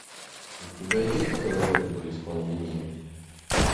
у тебя есть королева при исполнении